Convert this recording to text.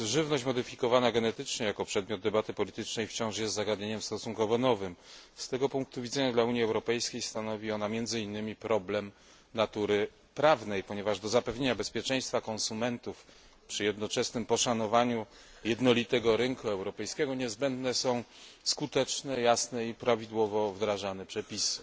Panie Przewodniczący! Żywność modyfikowana genetycznie jako przedmiot debaty politycznej jest wciąż stosunkowo nowym zagadnieniem. Z tego punktu widzenia dla Unii Europejskiej stanowi ona między innymi problem natury prawnej, ponieważ do zapewnienia bezpieczeństwa konsumentów przy jednoczesnym poszanowaniu jednolitego rynku europejskiego niezbędne są skuteczne, jasne i prawidłowo wdrażane przepisy.